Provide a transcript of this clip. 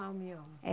Ah, o mioma. É